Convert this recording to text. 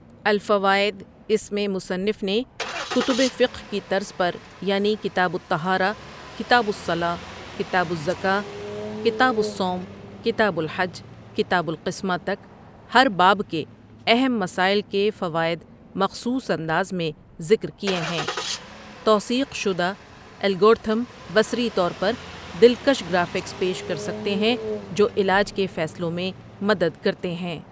الفوائد اس میں مصنف نے کتب فقہ کی طرز پر یعنی کتاب الطہارۃ، کتاب الصلوٰۃ، کتاب الزکوٰۃ، کتاب الصوم، کتاب الحج کتاب القسمۃ تک ہر باب کے اہم مسائل کے فوائد مخصوص انداز میں ذکر کیے ہیں توثیق شدہ الگورتھم بصری طور پر دلکش گرافکس پیش کر سکتے ہیں جو علاج کے فیصلوں میں مدد کرتے ہیں۔